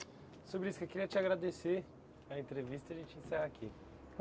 Seu eu queria te agradecer, a entrevista a gente encerra aqui.